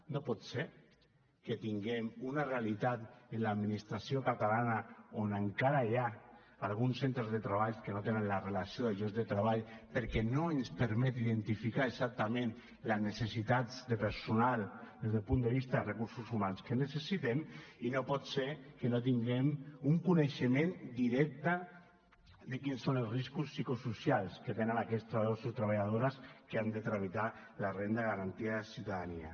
no pot ser que tinguem una realitat en l’administració catalana on encara hi ha alguns centres de treball que no tenen la relació de llocs de treball perquè no ens permet identificar exactament les necessitats de personal des del punt de vista de recursos humans que necessitem i no pot ser que no tinguem un coneixement directe de quins són els riscos psicosocials que tenen aquests treballadors i treballadores que han de tramitar la renda de garantia de ciutadania